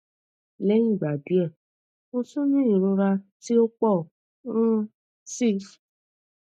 lẹhin igba diẹ mo tun ni irora ti o pọ um si